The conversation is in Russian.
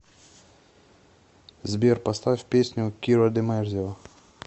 сбер поставь песню киро ди мэрзио